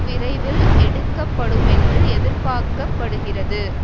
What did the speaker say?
விரைவில் எடுக்கப்படுமென்று எதிர்பார்க்க படுகிறது